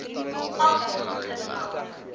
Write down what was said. agt sekondes lank